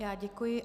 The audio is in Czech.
Já děkuji.